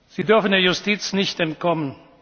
gesagt. Sie dürfen der Justiz nicht